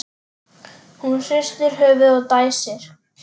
Hún hristir höfuðið og dæsir.